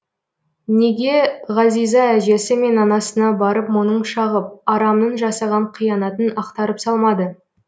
неге ғазиза әжесі мен анасына барып мұңын шағып арамның жасаған қиянатын ақтарып салмады